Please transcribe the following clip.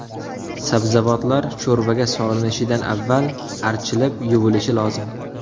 Sabzavotlar sho‘rvaga solinishidan avval archilib, yuvilishi lozim.